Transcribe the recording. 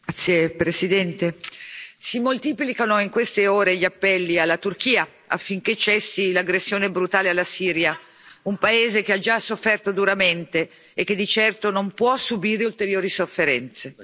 Signor Presidente, onorevoli colleghi, si moltiplicano in queste ore gli appelli alla Turchia, affinché cessi l'aggressione brutale alla Siria, un paese che ha già sofferto duramente e che di certo non può subire ulteriori sofferenze.